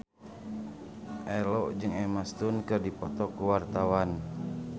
Ello jeung Emma Stone keur dipoto ku wartawan